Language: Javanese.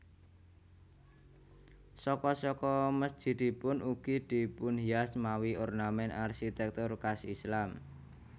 Saka saka mesjidipun ugi dipunhias mawi ornament arsitektur khas Islam